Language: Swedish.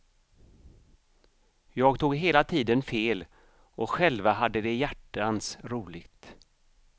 Jag tog hela tiden fel och själva hade de hjärtans roligt.